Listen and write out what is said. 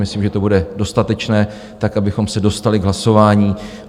Myslím, že to bude dostatečné tak, abychom se dostali k hlasování.